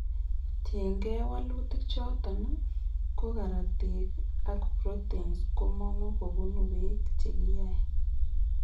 Kotin gee walutik choton ,ko karatik ak proteins komungu kobunu beek chekiyae